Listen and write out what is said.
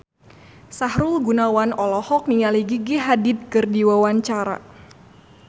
Sahrul Gunawan olohok ningali Gigi Hadid keur diwawancara